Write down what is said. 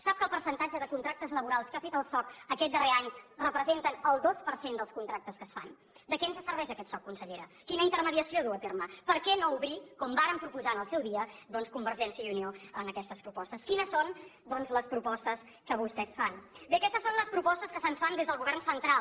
sap que el percentatge de contractes laborals que ha fet el soc aquest darrer any representa el dos per cent dels contractes que es fan de què ens serveix aquest soc consellera quina intermediació duu a terme per què no obrir ho com vàrem proposar en el seu dia doncs convergència i unió en aquestes propostes quines són les propostes que vostès fan bé aquestes són les propostes que se’ns fan des del govern central